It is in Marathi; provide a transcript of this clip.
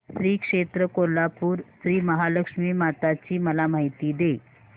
श्री क्षेत्र कोल्हापूर श्रीमहालक्ष्मी माता ची मला माहिती दे